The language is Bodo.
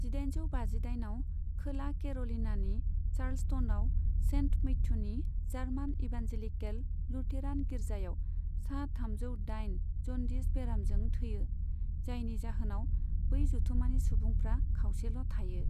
जिदाइनजौ बाजिदाइनआव खोला केर'लिनानि चार्ल्सटनआव सेन्ट मैथ्युनि जार्मान इभान्जेलिकेल लुथेरान गिर्जायाव सा थामजौ दाइन जन्दिस बेरामजों थैयो, जायनि जाहोनाव बै जथुमानि सुबुंफ्रा खावसेल' थायो।